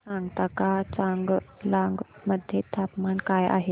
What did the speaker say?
मला सांगता का चांगलांग मध्ये तापमान काय आहे